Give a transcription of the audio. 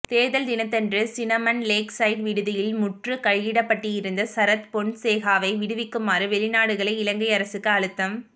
தேர்தல் தினத்தன்று Cinnamon Lakeside விடுதியில் முற்றுகையிடப்பட்டிருந்த சரத் பொன்சேகாவை விடுவிக்குமாறு வெளிநாடுகளே இலங்கை அரசுக்கு அழுத்தம்